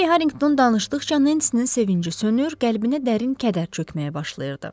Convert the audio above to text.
Poly Harinqton danışdıqca Nensinin sevinci sönür, qəlbinə dərin kədər çökməyə başlayırdı.